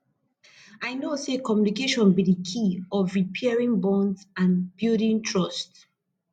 i know say communication be di key of repairing bonds and building trust